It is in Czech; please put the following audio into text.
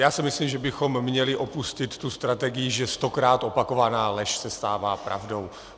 Já si myslím, že bychom měli opustit tu strategii, že stokrát opakovaná lež se stává pravdou.